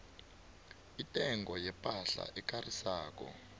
intengo yepahla ekarisako